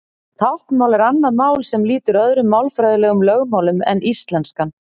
Táknmál er annað mál sem lýtur öðrum málfræðilegum lögmálum en íslenskan.